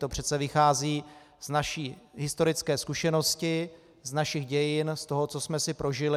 To přece vychází z naší historické zkušenosti, z našich dějin, z toho, co jsme si prožili.